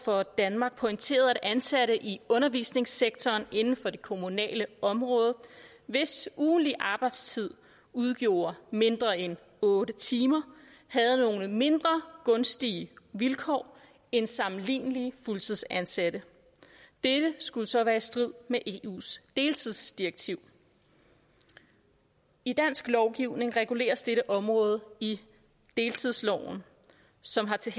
for danmark pointeret at ansatte i undervisningssektoren inden for det kommunale område hvis ugentlige arbejdstid udgjorde mindre end otte timer havde nogle mindre gunstige vilkår end sammenlignelige fuldtidsansatte dette skulle så være i strid med eus deltidsdirektiv i dansk lovgivning reguleres dette område i deltidsloven som har til